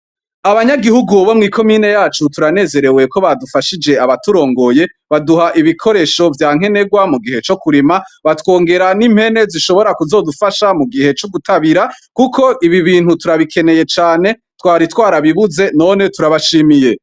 Abanyagihugu bomwi komine yacu turanezerewe ko badufashije abaturongoye baduha ibikoresho vyankenegwa mu gihe co kurema batwongera n'impene zishobora kuzodufasha mu gihe co gutabira kuko ibi bintu turabikeneye cane twari twarabibuze none turabashimiye.